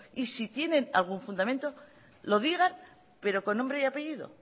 y si tiene algún fundamento lo digan pero con nombre y apellido